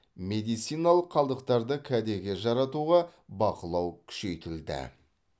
медициналық қалдықтарды кәдеге жаратуға бақылау күшейтілді